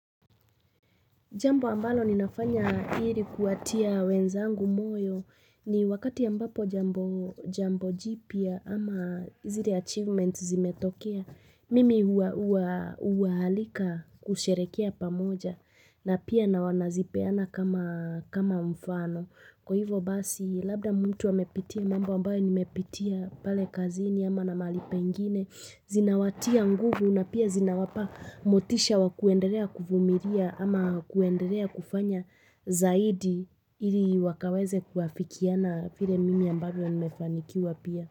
Jambo ambalo ninafanya hiri kuwatia wenzangu moyo ni wakati ambapo jambo jipya ama zire achievements zimetokea, mimi uahalika kusherekea pamoja na pia na wanazipeana kama mfano. Kwa hivyo basi labda mtu amepitia mambo ambayo nimepitia pale kazini ama na mahali pengine, zinawatia nguvu na pia zinawapa motisha wa kuenderea kuvumiria ama kuenderea kufanya zaidi iri wakaweze kuafikiana file mimi ambayo nimefanikiwa pia.